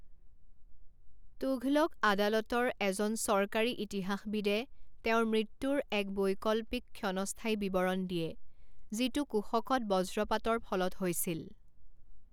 তুঘলক আদালতৰ এজন চৰকাৰী ইতিহাসবিদে তেওঁৰ মৃত্যুৰ এক বৈকল্পিক ক্ষণস্থায়ী বিৱৰণ দিয়ে, যিটো কুশকত বজ্ৰপাতৰ ফলত হৈছিল।